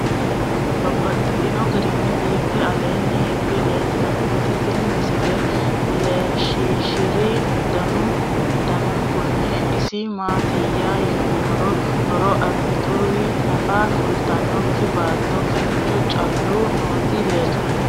Babaxxittinno garinni biiffe aleenni hige leelittannotti tinni misile lelishshanori danu danunkunni isi maattiya yinummoro horo mitturi naffa fulannokki baatto kinchu callu nootti leelittanno